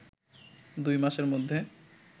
দুই মাসের মধ্যে